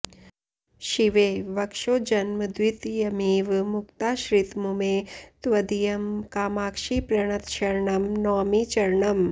शिवे वक्षोजन्मद्वितयमिव मुक्ताश्रितमुमे त्वदीयं कामाक्षि प्रणतशरणं नौमि चरणम्